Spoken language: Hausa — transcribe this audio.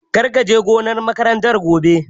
Kar ka je gonar makarantar gobe!